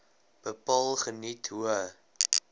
bepaal geniet hoë